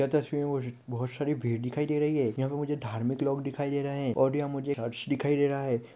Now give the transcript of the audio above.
यह तस्वीर मै मुझे बहुत सारी भीड़ दिखाई दे रही है यहाँ पे मुझे धार्मिक लोग दिखाई दे रहे है ओर यहाँ मुझे चर्च दिखाई दे रहा है |